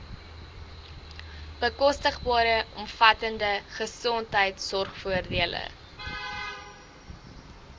bekostigbare omvattende gesondheidsorgvoordele